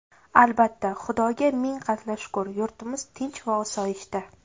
Albatta, Xudoga ming qatla shukr, yurtimiz tinch va osoyishta.